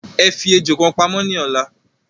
Ẹ fi ejò kan pamó ní ọ̀la